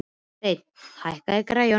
Sveinn, hækkaðu í græjunum.